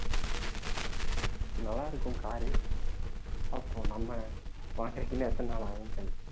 நல்லா இருக்கும் car பாப்போம் நம்ம வாங்கறதுக்கு இன்னும் எத்தனை நாள் ஆகும்ன்னு தெரியல